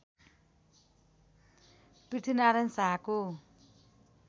पृथ्वीनारायण शाहको